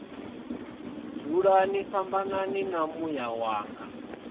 dzulani fhambanani na muya wanga